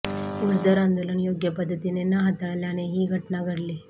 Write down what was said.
ऊसदर आंदोलन योग्य पद्धतीने न हाताळल्याने ही घटना घडली